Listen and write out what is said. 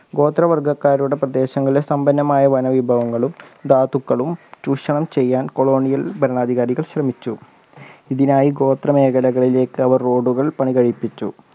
ഗോത്രവർഗ്ഗക്കാരുടെ പ്രദേശങ്ങളിൽ സമ്പന്നമായ വനവിഭവങ്ങളും ധാതുക്കളും ചൂഷണം ചെയ്യാൻ colonial ഭരണാധികാരികൾ ശ്രമിച്ചു ഇതിനായി ഗോത്രമേഖലകളിലേക്ക് അവർ road കൾ പണികഴിപ്പിച്ചു